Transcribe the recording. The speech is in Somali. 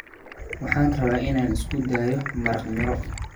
Waxaan rabaa inaan isku dayo maraq miro.